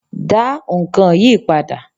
Da nkán yíí padà